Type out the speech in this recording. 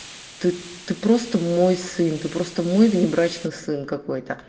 ты ты просто мой сын ты просто мой внебрачный сын какой то